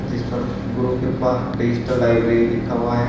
जिस पर Guru Kripa digital library लिखा हुआ है।